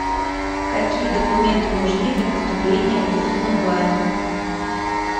какие документы нужны для поступления в вуз онлайн